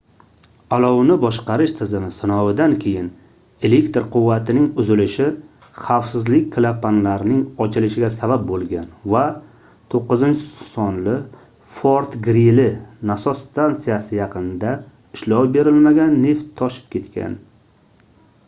olovni boshqarish tizimi sinovidan keyin elektr quvvatining uzilishi xavfsizlik klapanlarning ochilishiga sabab boʻlgan va 9-sonli fort-grili nasos stansiyasi yaqinida ishlov berilmagan neft toshib ketgan